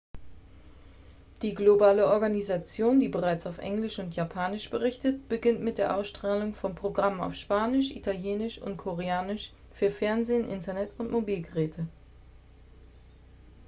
die globale organisation die bereits auf englisch und japanisch berichtet beginnt mit der ausstrahlung von programmen auf spanisch italienisch und koreanisch für fernsehen internet und mobilgeräte